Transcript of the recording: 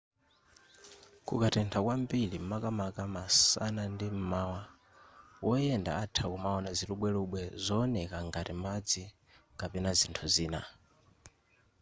kukatentha kwambiri makamaka masana ndi m'mawa woyenda atha kumaona zilubwelubwe zowoneka ngati madzi kapena zinthu zina